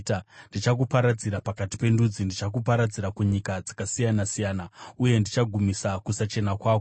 Ndichakuparadzira pakati pendudzi, ndichakuparadzira kunyika dzakasiyana-siyana; uye ndichagumisa kusachena kwako.